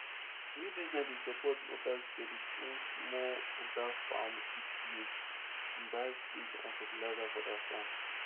new business dey support mobile credit wey small holder farmers fit use buy seeds and fertilizer for their farm